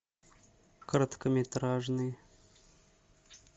короткометражный